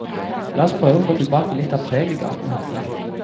La oss prøve å få tilbake litt av preget gaten hadde.